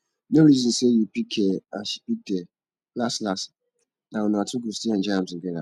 no reason say you pick here and she pick there las las na una two go still enjoy am together